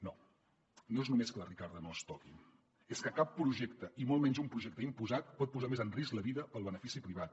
no no és només que la ricarda no es toqui és que cap projecte i molt menys un projecte imposat pot posar més en risc la vida pel benefici privat